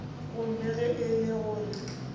gomme ge e le gore